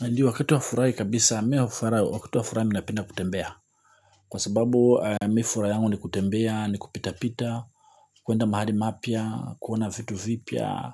Ndio wakati wa furahi kabisa, wakati wa furaha minapenda kutembea. Kwa sababu, mi furaha yangu ni kutembea, ni kupita-pita, kuenda mahali mapya, kuona vitu vipya.